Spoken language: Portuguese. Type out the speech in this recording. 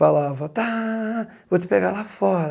Falava, tá, vou te pegar lá fora.